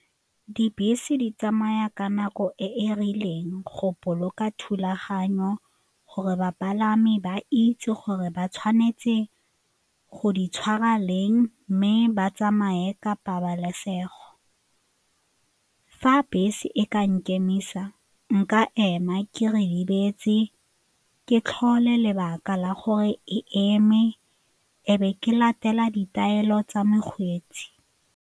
Dibese di tsamaya ka nako e e rileng go boloka thulaganyo gore bapalami ba itse gore ba tshwanetse go di tshwara leng mme ba tsamaye ka pabalesego. Fa bese e ka nkemisa, nka ema ke ritibetse, ke tlhole lebaka la gore e eme e be ke latela ditaelo tsa mokgweetsi.